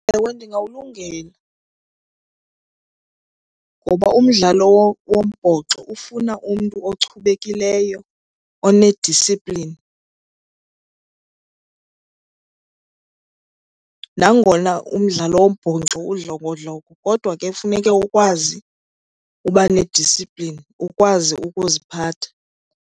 Ewe, ndingawulungela, ngoba umdlalo wombhoxo ufuna umntu ochubekileyo one-discipline. Nangona umdlalo wombhoxo udlongodlongo kodwa ke funeke ukwazi uba ne-discipline, ukwazi ukuziphatha.